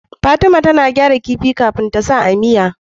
Fatima tAna gyara kifi kafin tasa a miya